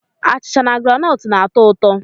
Achịcha na groundnut na-atọ ụtọ.